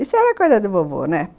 Isso era coisa do vovô, né?